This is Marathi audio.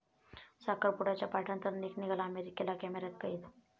साखरपुड्याच्या पार्टीनंतर निक निघाला अमेरिकेला, कॅमेऱ्यात कैद